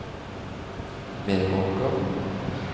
Meråker